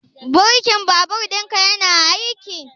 Birkin babur ɗinka yana aiki?